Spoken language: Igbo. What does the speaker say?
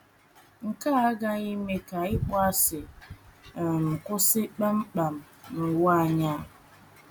nke a agaghị eme ka ịkpọasị um kwụsị kpam kpam n’ụwa anyị. ’